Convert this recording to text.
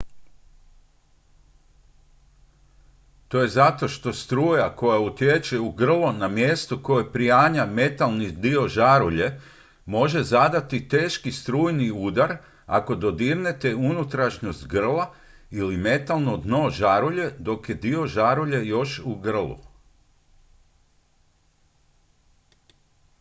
to je zato što struja koja utječe u grlo na mjestu na koje prianja metalni dio žarulje može zadati teški strujni udar ako dodirnete unutrašnjost grla ili metalno dno žarulje dok je dio žarulje još u grlu